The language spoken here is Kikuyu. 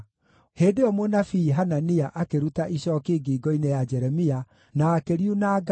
Hĩndĩ ĩyo mũnabii Hanania akĩruta icooki ngingo-inĩ ya Jeremia na akĩriunanga,